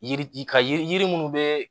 Yiri ka yiri munnu be